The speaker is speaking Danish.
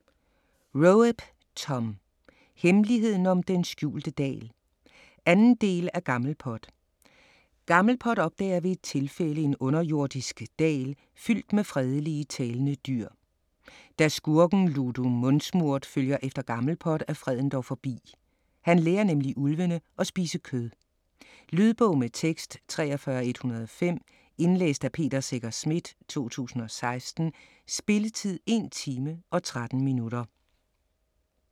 Roep, Thom: Hemmeligheden om den skjulte dal 2. del af Gammelpot. Gammelpot opdager ved et tilfælde en underjordisk dal fyldt med fredelige, talende dyr. Da skurken Ludo Mundsmurt følger efter Gammelpot, er freden dog forbi. Han lærer nemlig ulvene at spise kød! Lydbog med tekst 43105 Indlæst af Peter Secher Schmidt, 2016. Spilletid: 1 time, 13 minutter.